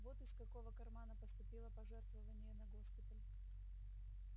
вот из какого кармана поступило пожертвование на госпиталь